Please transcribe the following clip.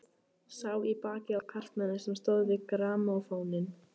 Sá í bakið á karlmanni sem stóð við grammófóninn.